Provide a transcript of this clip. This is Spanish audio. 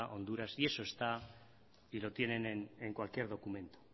honduras y eso está y lo tienen en cualquier documento